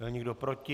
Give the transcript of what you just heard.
Je někdo proti?